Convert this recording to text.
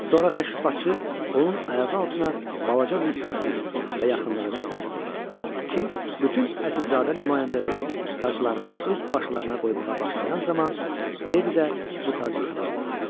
Sonra təşrifatçı onun ayağı altına balaca bir kürsü və yaxınlığına tac qoyur ki, bütün əsilzadə nümayəndələri taclarını öz başlarına qoymağa başlayan zaman ledi də bu tacı tapa bilsin.